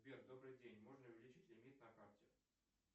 сбер добрый день можно увеличить лимит на карте